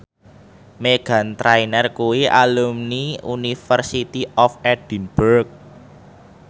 Meghan Trainor kuwi alumni University of Edinburgh